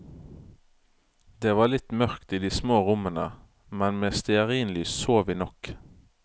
Det var litt mørkt i de små rommene, men med stearinlys så vi nok.